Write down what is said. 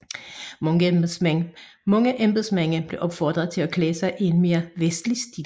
Mange embedsmænd blev opfordret til at klæde sig i en mere vestlig stil